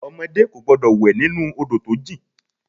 Ọmọdé kò gbọ́dọ̀ wẹ̀ nínú Odò tó jìn.